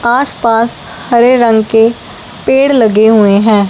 आसपास हरे रंग के पेड़ लगे हुए हैं।